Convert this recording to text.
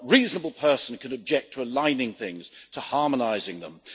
What reasonable person could object to aligning things, to harmonising them?